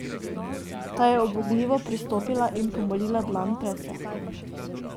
Ta je ubogljivo pristopila in pomolila dlani predse.